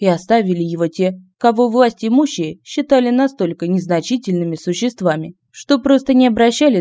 и оставили его те кого власть имущие считали настолько незначительными существами что просто не обращали